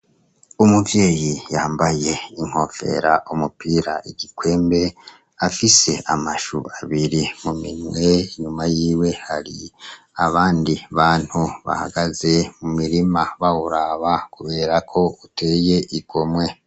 Umuvyeyi yambaye inkofera umupira igikwembe afise amashu abiri mu mimwe nyuma yiwe hari abandi bantu bahagaze mu mirima bawuraba, kubera ko uteye igomwe.